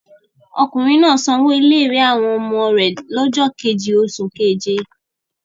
Ọkùnrin náà sanwó ilé-ìwé àwọn ọmọ rẹ̀ lọ́jọ́ kejì oṣù keje?